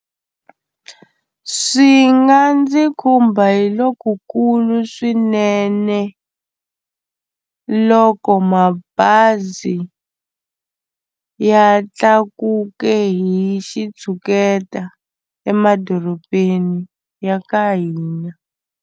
Swi nga ndzi khumba hi lokukulu swinene loko mabazi ya tlakuke hi xitshuketa emadorobeni ya ka hina.